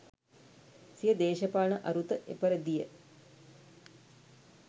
සිය දේශපාලන අරුත එපරිදි ය.